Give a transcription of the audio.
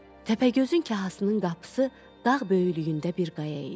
Təpəgözün kahasının qapısı dağ böyüklüyündə bir qaya idi.